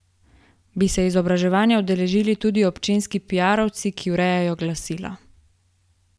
Bi se izobraževanja udeležili tudi občinski piarovci, ki urejajo glasila?